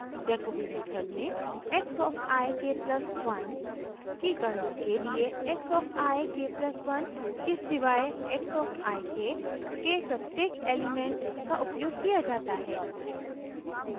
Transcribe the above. jacobi method में x of i k+1 की गणना के लिए x of i k+1 के सिवाए x of i k के प्रत्येक एलिमेंट का उपयोग किया जाता है